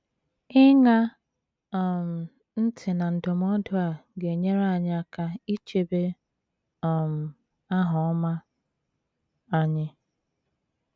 Ịṅa um ntị na ndụmọdụ a ga - enyere anyị aka ichebe um aha ọma anyị.